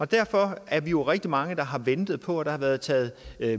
derfor er vi jo rigtig mange der har ventet på det har været taget